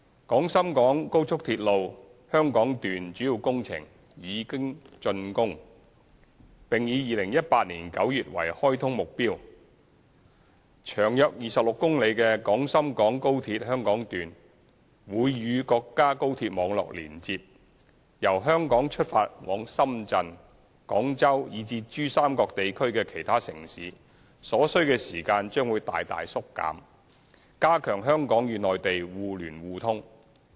廣深港高速鐵路香港段主要工程已經竣工，並以2018年9月為開通目標，長約26公里的廣深港高鐵香港段會與國家高鐵網絡連接，由香港出發往深圳、廣州以至珠三角地區的其他城市的所需時間將會大大縮短，加強基建互聯互通。